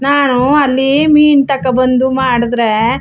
ನಾನು ಅಲ್ಲಿ ಮೀನ್ ತಕೋ ಬಂದು ಮಾಡುದ್ರೆ --